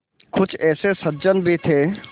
कुछ ऐसे सज्जन भी थे